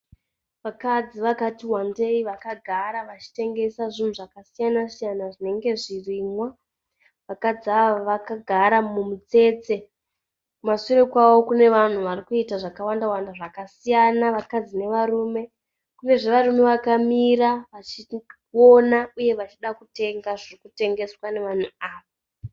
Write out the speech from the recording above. Vakadzi vakati wandei vakagara vachitengesa zvinhu zvakasiyanasiyana zvinenge zvirimwa. Vakadzi ava vakagara mumutsetse. Kumasure kwavo kune vanhu vari kuita zvakawandawanda zvakasiyana vakadzi navarume. Kunezve varume vakamira vachiona uye vachida kutenga zviri kutengeswa navanhu ava.